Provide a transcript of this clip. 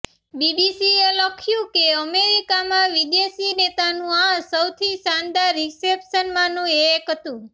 બીબીસીએ લખ્યું કે અમેરિકામાં વિદેશી નેતાનું આ સૌથી શાનદાર રિસેપ્શનમાંનું એક હતું